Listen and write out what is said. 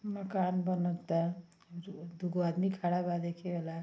मकान बनता जो-दू गो आदमी खड़ा ब देखे वाला।